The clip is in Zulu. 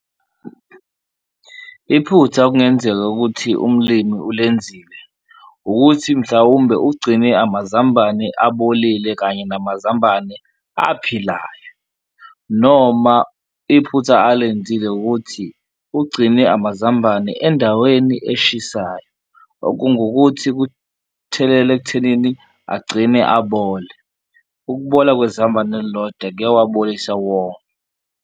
Iphutha okungenzeka ukuthi umlimi olenzile ukuthi mhlawumbe ugcine amazambane abolile kanye namazambane aphilayo noma iphutha alenzile ukuthi ugcine amazambane endaweni eshisayo, okungukuthi kuthelela ekuthenini agcine abole. Ukubola kwezambane elilodwa kuyawabolisa wonke.